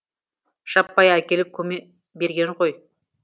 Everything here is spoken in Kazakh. жаппай әкеліп көме берген ғой